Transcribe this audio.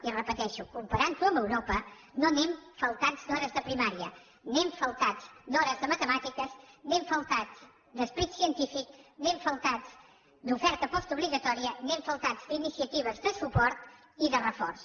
i ho repeteixo comparant ho amb europa no anem faltats d’hores de primària anem faltats d’hores de matemàtiques anem faltats d’esperit científic anem faltats d’oferta postobligatòria anem faltats d’iniciatives de suport i de reforç